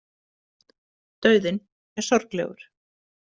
Dauðinn er sorglegur.